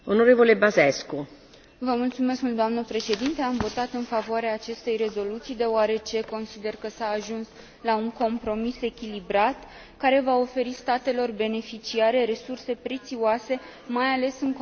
Doamnă președinte, am votat în favoarea acestei rezoluții, deoarece consider că s a ajuns la un compromis echilibrat, care va oferi statelor beneficiare resurse prețioase, mai ales în contextul austerității bugetare.